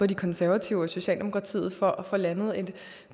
de konservative og socialdemokratiet for at få landet en